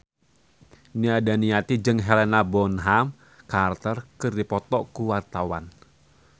Nia Daniati jeung Helena Bonham Carter keur dipoto ku wartawan